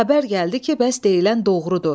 Xəbər gəldi ki, bəs deyilən doğrudur.